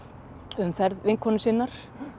um ferð vinkonu sinnar